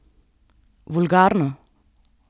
Vulgarno?